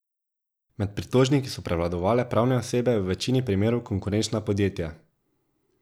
Med pritožniki so prevladovale pravne osebe, v večini primerov konkurenčna podjetja.